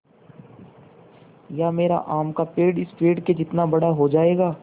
या मेरा आम का पेड़ इस पेड़ के जितना बड़ा हो जायेगा